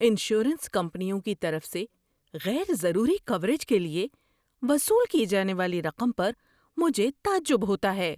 Insurance کمپنیوں کی طرف سے غیر ضروری کوریج کے لیے وصول کی جانے والی رقم پر مجھے تعجب ہوتا ہے۔